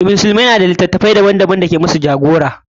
Musulmai na da takardu daban daban da ya saya musu a matsayin jagora.